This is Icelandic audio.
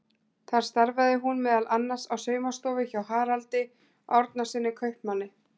Þar starfaði hún meðal annars á saumastofu hjá Haraldi Árnasyni kaupmanni.